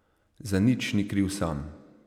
Za nič ni kriv sam.